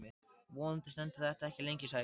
Vonandi stendur þetta ekki lengi, sagði Karen.